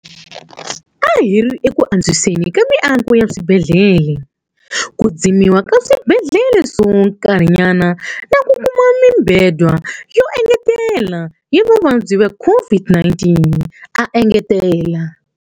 A hi ri eku antswiseni ka miako ya swibedhlele, ku dzimiwa ka swibedhlele swa nkarhinyana na ku kuma mibedwa yo engetela ya vavabyi va COVID-19, a engetela.